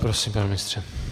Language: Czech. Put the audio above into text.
Prosím, pane ministře.